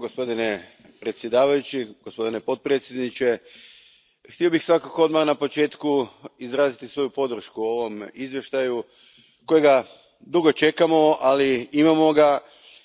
Gospodine predsjedavajući, gospodine potpredsjedniče, htio bih svakako odmah na početku izraziti svoju podršku ovom izvještaju kojeg dugo čekamo, ali imamo ga